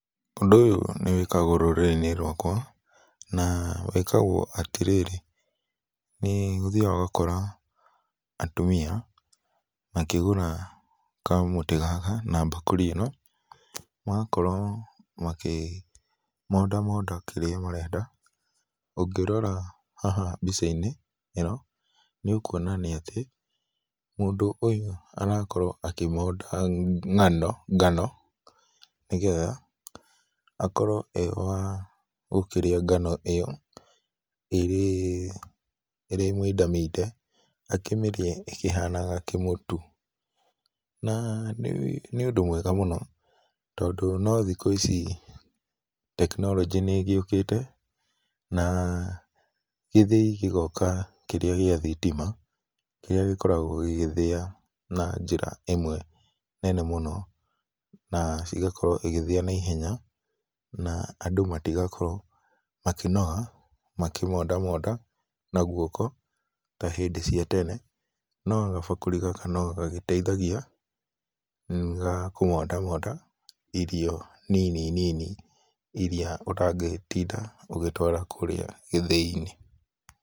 Ũndũ ũyũ nĩwĩkagwo rũrĩrĩ-inĩ rwakwa, na wĩkwagwo atĩrĩrĩ, nĩ ũthiaga ũgakora atumia makĩgũra kamũtĩ gaka na mbakũri ĩno, magakorwo makĩmondamonda kĩrĩa marenda. Ũngĩrora haha mbicainĩ ĩno, nĩ ũkuona nĩ atĩ, mũndũ ũyũ arakorwo akĩmonda ngano nĩgetha akorwo arĩ wa gũkĩrĩa ngano ĩyo ĩrĩ mindaminde, akĩmĩrĩe ĩkĩhanaga kĩmũtu. Na nĩ ũndũ mwega mũno tondũ no thikũ ici technology nĩ ĩgĩũkĩte na githĩi gĩgoka kĩrĩa gĩa thitima, kĩrĩa gĩkoragwo gĩgĩthĩa na njĩra ĩmwe nene mũno, na ĩgakorwo ĩgĩthĩa na ihenya na andũ matigakorwo makĩnoga makĩmondamonda na guoko ta hĩndĩ cia tene. No kabakũri gaka no gagĩteithagia, nĩ gakũmondamonda irio nini nini iria ũtangĩtinda ũgĩtwara kũrĩa gĩthĩinĩ.